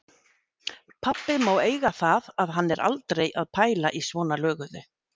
Pabbi má eiga það að hann er aldrei að pæla í svona löguðu.